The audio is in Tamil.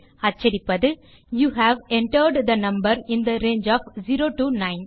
அச்சடிப்பது you have entered the number in the range of 0 to 9